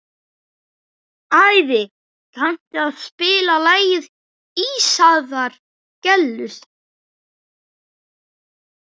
Ævi, kanntu að spila lagið „Ísaðar Gellur“?